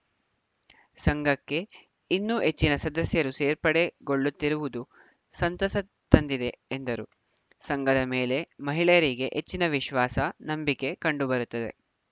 ಸಂಘಕ್ಕೆ ಇನ್ನೂ ಹೆಚ್ಚಿನ ಸದಸ್ಯರು ಸೇರ್ಪಡೆಗೊಳ್ಳುತ್ತಿರುವುದು ಸಂತಸ ತಂದಿದೆ ಎಂದರು ಸಂಘದ ಮೇಲೆ ಮಹಿಳೆಯರಿಗೆ ಹೆಚ್ಚಿನ ವಿಶ್ವಾಸ ನಂಬಿಕೆ ಕಂಡುಬರುತ್ತದೆ